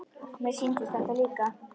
Mér sýndist þetta líka.